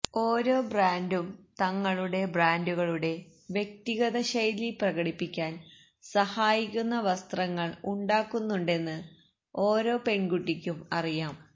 ഓരോ ബ്രാൻഡും തങ്ങളുടെ ബ്രാൻഡുകളുടെ വ്യക്തിഗത ശൈലി പ്രകടിപ്പിക്കാൻ സഹായിക്കുന്ന വസ്ത്രങ്ങൾ ഉണ്ടാക്കുന്നുണ്ടെന്ന് ഓരോ പെൺകുട്ടിക്കും അറിയാം